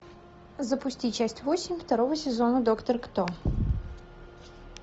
запусти часть восемь второго сезона доктор кто